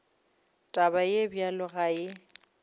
taba ye bjalo ga e